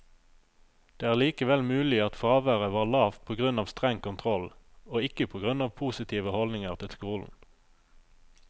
Det er likevel mulig at fraværet var lavt på grunn av streng kontroll, og ikke på grunn av positive holdninger til skolen.